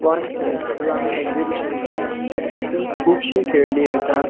फनफेर किंवा आमी एक्सिबिशन म्हणता हितुन कूबशी खेळणी येता.